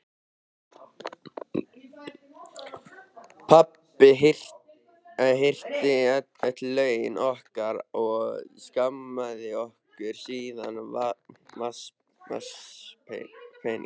Pabbi hirti öll launin okkar og skammtaði okkur síðan vasapeninga.